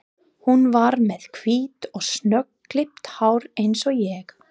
Hún var með hvítt og snöggklippt hár eins og ég.